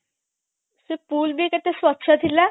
ସେ pool ବି କେତେ ସ୍ବଚ୍ଛ ଥିଲା